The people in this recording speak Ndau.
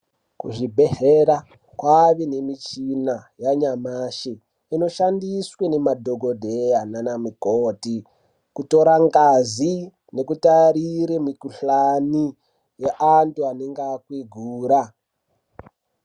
Kuzvibhedhlera kwave nemichina yanyamashe. Inoshandiswe nemadhokodheya nanamukoti, kutora ngazi nekutarire mikuhlani ye antu anenge akwigwira.